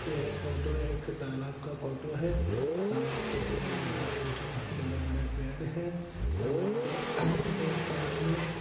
यह फोटो एक तालाब का फोटो है तालाब के किनारे दो तीन ठो बड़े-बड़े पेड़ है तालाब के एक साइड मे--